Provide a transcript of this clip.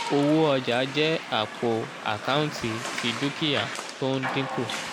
owó ọjà jẹ́ àpò àkántì ti dúkìá tó ń dínkù